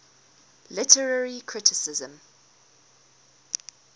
literary criticism